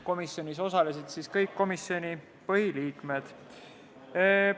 Komisjoni istungil osalesid kõik komisjoni põhiliikmed.